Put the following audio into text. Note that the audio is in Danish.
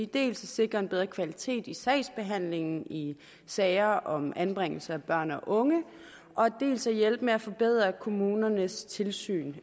dels at sikre en bedre kvalitet i sagsbehandlingen i sager om anbringelse af børn og unge dels at hjælpe med at forbedre kommunernes tilsyn